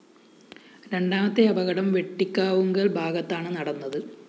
രണ്ടാമത്തെ അപകടം വെട്ടിക്കാവുങ്കല്‍ ഭാഗത്താണ് നടന്നത്